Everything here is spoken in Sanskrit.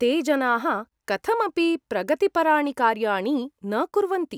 ते जनाः कथमपि प्रगतिपराणि कार्याणि न कुर्वन्ति।